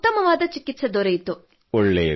ತುಂಬ ಉತ್ತಮವಾದ ಚಿಕಿತ್ಸೆ ದೊರೆಯಿತು